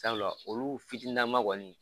Sabula olu fitininnama kɔni